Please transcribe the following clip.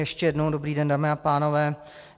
Ještě jednou dobrý den, dámy a pánové.